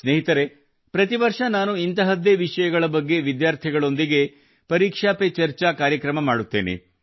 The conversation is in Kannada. ಸ್ನೇಹಿತರೇ ಪ್ರತಿ ವರ್ಷ ನಾನು ಇಂತಹದ್ದೇ ವಿಷಯಗಳ ಬಗ್ಗೆ ವಿದ್ಯಾರ್ಥಿಗಳೊಂದಿಗೆ ಪರೀಕ್ಷಾ ಪರ್ ಚರ್ಚಾ ಕಾರ್ಯಕ್ರಮ ಮಾಡುತ್ತೇನೆ